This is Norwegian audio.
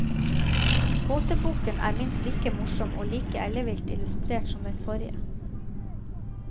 Gåteboken er minst like morsom, og like ellevilt illustrert som den forrige.